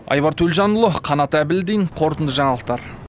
айбар төлжанұлы қанат әбілдин қорытынды жаңалықтар